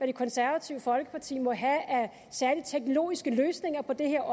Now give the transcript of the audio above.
det konservative folkeparti må have af særlige teknologiske løsninger på det her